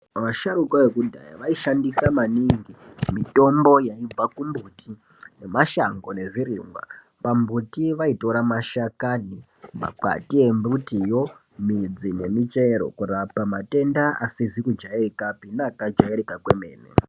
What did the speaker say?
Vasharuka vekudhaya vaishandisa maningi mitombo yaibva kumumbuti nemashanho nezvirimwa pamumbuti vaitora mashakani nemakwati midzi nemuchero kurapa matenda asizi kujairikapi neakaj airika kwemene